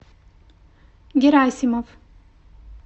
герасимов